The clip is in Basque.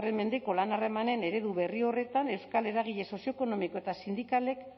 mendeko lan harremanen eredu berri horretan euskal eragile sozioekonomiko eta sindikalek